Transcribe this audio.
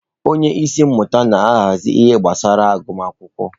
Onye isi mmụta na-ahazi ihe gbasara agụmakwụkwọ.